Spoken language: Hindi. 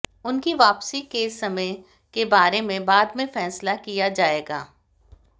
उनकी वापसी के समय के बारे में बाद में फैसला किया जाएगा